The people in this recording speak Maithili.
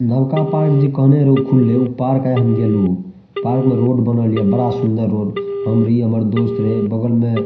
नवका पार्क जे केहनोरो खुले उ पार्क आ हम गएलु पार्क में रोड बनीलियो बड़ा सुंदर रोड हम रही हमर दोस्त रहे बगल में --